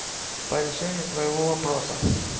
по решению твоего вопроса